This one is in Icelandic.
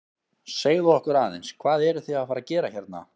Segðu okkur aðeins, hvað eruð þið að fara að gera hérna?